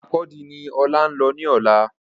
Markurdi ni Ọlá ńlọ ní ọ̀la